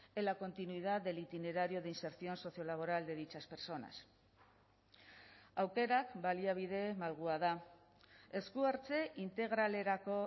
en la continuidad del itinerario de inserción sociolaboral de dichas personas aukerak baliabide malgua da esku hartze integralerako